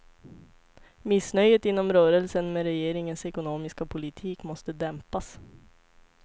Missnöjet inom rörelsen med regeringens ekonomiska politik måste dämpas.